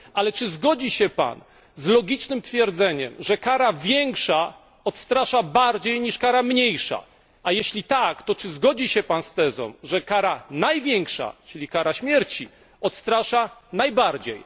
Ale czy zgodzi się Pan z logicznym twierdzeniem, że kara większa odstrasza bardziej niż kara mniejsza? A jeśli tak, czy zgodzi się Pan z tezą, że kara największa, czyli kara śmierci, odstrasza najbardziej?